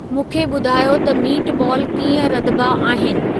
मूंखे ॿुधायो त मीटबॉल कीअं रधबा आहिनि